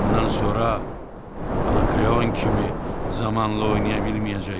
Bundan sonra Anakreon kimi zamanla oynaya bilməyəcəksən.